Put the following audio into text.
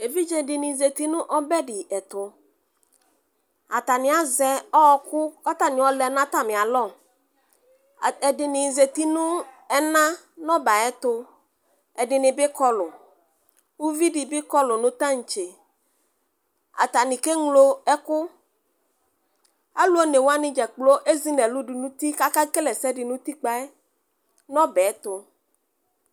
evidze di ni zati no ɔbɛ di ɛto atani azɛ ɔku k'atani ayɔ lɛ n'atami alɔ ɛdini zati no ɛna n'ɔbɛ ayi ɛto ɛdini bi kɔlu uvi di bi kɔlu no tantse atani ke ŋlo ɛkò alò one wani dzakplo ezi n'ɛlu do n'uti k'ake kele ɛsɛ di n'utikpa yɛ no ɔbɛ to.